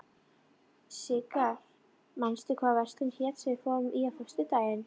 Sigarr, manstu hvað verslunin hét sem við fórum í á föstudaginn?